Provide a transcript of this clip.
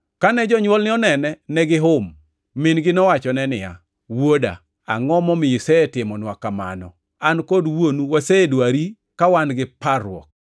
Kane jonywolne onene, negihum. Min-gi nowachone niya, “Wuoda, angʼo momiyo isetimonwa kamano? An kod wuonu wasedwari ka wan gi parruok.”